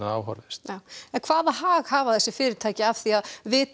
á horfist hvaða hag hafa þessi fyrirtæki af því að vita